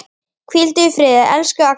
Hvíldu í friði, elsku Agnar.